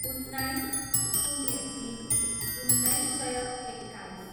उन्नाइस, शून्य तिन, उन्नाइस सय एक्काइस